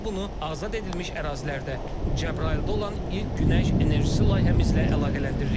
Və biz bunu azad edilmiş ərazilərdə, Cəbrayılda olan ilk günəş enerjisi layihəmizlə əlaqələndiririk.